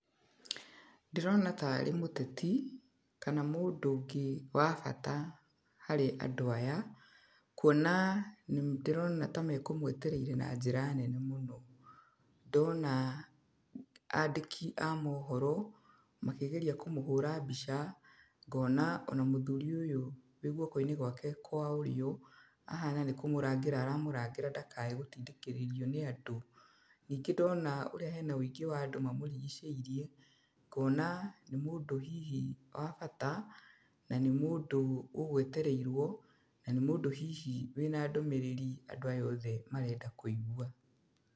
Ndĩrona tarĩ mũteti, kana mũndũ ũngĩ wa bata harĩ andũ aya, kuona nĩ ndĩrona ta mekũmũetereire na njĩra nene mũno. Ndona andĩki a mohoro, magĩgeria kũmũhũra mbica, ngona ona mũthuri ũyũ wĩ guoko-inĩ gwake kwa ũrĩo, ahana nĩ kũmũrangĩra aramũrangĩra ndakae gũtindĩkĩrĩrio nĩ andũ. Ningĩ ndona ũrĩa hena ũingĩ wa andũ mamũrigicĩirie, ngona nĩ mũndũ hihi wa bata, na nĩ mũndũ ũgũetereirwo, na nĩ mũndũ hihi wĩna ndũmĩrĩri andũ aya othe marenda kũigua.